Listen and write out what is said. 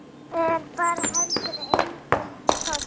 Þeir bera heldur engan toll.